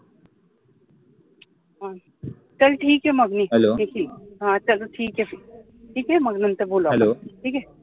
चाल ठीके मह मी ठेवते, चाल ठीके, ठीके मग नंतर बोलू, ठीके